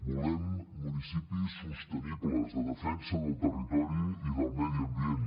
volem municipis sostenibles de defensa del territori i del medi ambient